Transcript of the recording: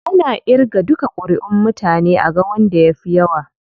Ana irga duka kuriʼun mutane aga wanda ya fi yawa.